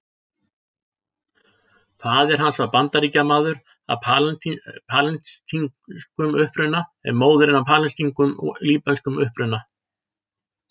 Faðir hans var Bandaríkjamaður af palestínskum uppruna en móðirin af palestínskum og líbönskum uppruna.